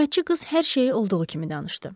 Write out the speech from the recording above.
Xidmətçi qız hər şeyi olduğu kimi danışdı.